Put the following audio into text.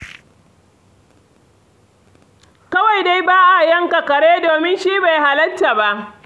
Kawai dai ba a yanka kare, domin shi bai halatta ba.